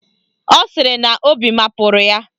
Ọ sịrị na obi mapụrụ ya.